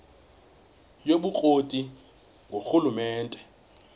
yobukro ti ngurhulumente